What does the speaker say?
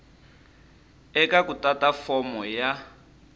eka ku tata fomo ya